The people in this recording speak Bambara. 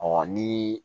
ni